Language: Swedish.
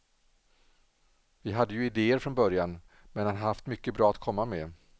Vi hade ju idéer från början, men han har haft mycket bra att komma med.